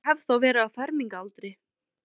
Ég hef þá verið á fermingaraldri.